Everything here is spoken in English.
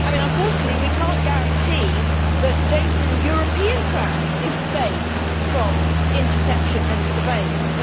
Unfortunately, we cannot guarantee that data in a European cloud is safe from interception and surveillance.